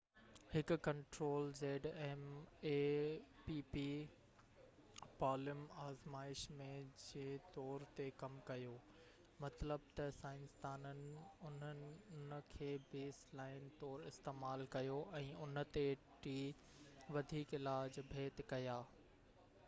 palm آزمائش ۾ zmapp هڪ control جي طور تي ڪم ڪيو مطلب ته سائنسدانن ان کي بيس لائن طور استعمال ڪيو ۽ ان تي ٽي وڌيڪ علاج ڀيٽ ڪيا